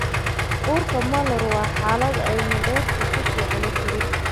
Uurka molar waa xaalad ay mandheerta si fiican u korin.